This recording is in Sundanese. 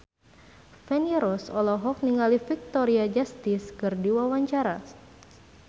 Feni Rose olohok ningali Victoria Justice keur diwawancara